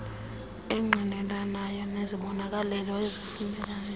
engqinelanayo nezibonelelo ezifunekayo